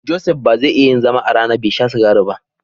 Joseph ba za ya iya yin zama a rana bai sha sigari ba.